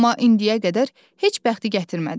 Amma indiyə qədər heç bəxti gətirmədi.